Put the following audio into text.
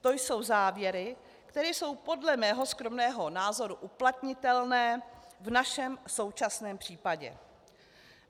To jsou závěry, které jsou podle mého skromného názoru uplatnitelné v našem současném případě.